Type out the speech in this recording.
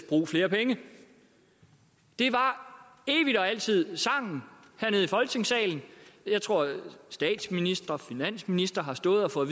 brug flere penge det var evig og altid sangen hernede i folketingssalen jeg tror at statsministre og finansministre har stået og fået